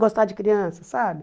Gostar de criança, sabe?